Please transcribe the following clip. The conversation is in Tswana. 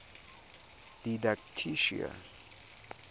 didactician